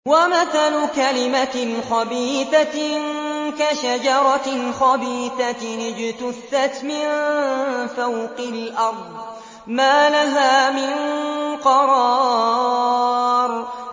وَمَثَلُ كَلِمَةٍ خَبِيثَةٍ كَشَجَرَةٍ خَبِيثَةٍ اجْتُثَّتْ مِن فَوْقِ الْأَرْضِ مَا لَهَا مِن قَرَارٍ